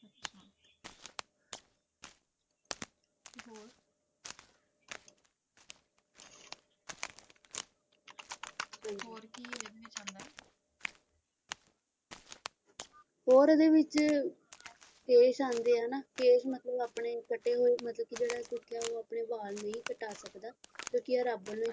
ਹੋਰ ਇਹਦੇ ਵਿੱਚ ਕੇਸ ਆਉਂਦੇ ਆ ਨਾ ਕੇਸ ਮਤਲਬ ਆਪਣੇ ਕੱਟੇ ਹੋਏ ਮਤਲਬ ਕੇ ਜਿਹੜਾ ਕੀ ਉਹ ਆਪਣੇ ਵਾਲ ਨਹੀਂ ਕਟਾ ਸਕਦਾ ਕਿਉਂਕਿ ਇਹ ਰੱਬ ਵੱਲੋਂ